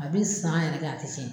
A bɛ san yɛrɛ kɛ a tɛ cɛn.